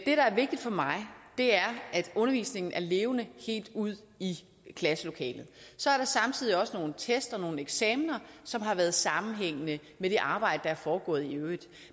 der er vigtigt for mig er at undervisningen er levende helt ude i klasselokalet så er der samtidig også nogle test og nogle eksamener som har været sammenhængende med det arbejde der er foregået i øvrigt